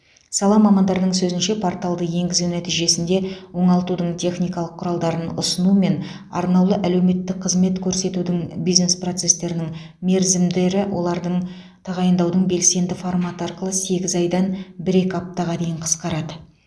сала мамандарының сөзінше порталды енгізу нәтижесінде оңалтудың техникалық құралдарын ұсыну мен арнаулы әлеуметтік қызмет көрсетудің бизнес процестерінің мерзімдері олардың тағайындаудың белсенді форматы арқылы сегіз айдан бір екі аптаға дейін қысқарады